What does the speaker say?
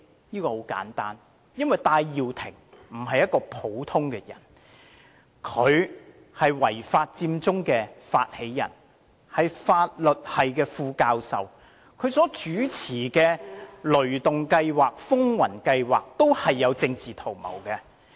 很簡單，因為戴耀廷不是一個普通人，他是違法佔中的發起人，亦是法律系副教授，他所主持的"雷動計劃"和"風雲計劃"均有政治圖謀。